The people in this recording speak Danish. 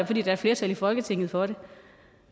i folketingssalen